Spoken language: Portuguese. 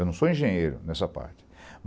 Eu não sou engenheiro nessa parte.